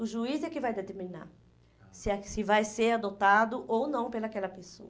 O juiz é que vai determinar se a se vai ser adotado ou não pela aquela pessoa.